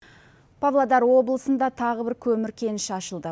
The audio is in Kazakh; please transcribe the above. павлодар облысында тағы бір көмір кеніші ашылды